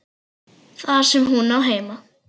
Þar sem hún á heima.